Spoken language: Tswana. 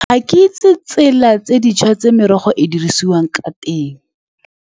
Ga ke itse ditsela tse dišwa tse merogo e dirisiwang ka teng.